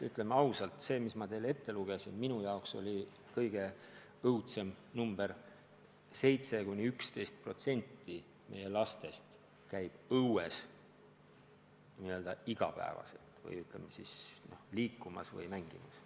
Ütleme ausalt, see number, mis ma enne nimetasin, on minu jaoks kõige õudsem number: vaid 7–11% meie lastest käib iga päev õues mängimas või end mingil muul moel liigutamas.